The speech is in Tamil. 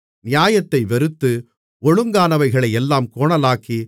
நியாயத்தை வெறுத்து ஒழுங்கானவைகளையெல்லாம் கோணலாக்கி